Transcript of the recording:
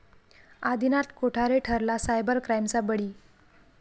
आदिनाथ कोठारे ठरला सायबर क्राईमचा बळी